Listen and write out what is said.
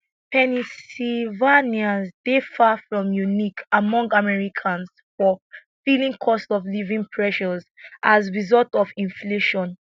pennsylvanians dey far from unique among americans for feelingcostofliving pressuresas result of inflation